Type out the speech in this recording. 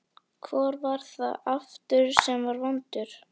Hvor var það aftur sem var svo vondur?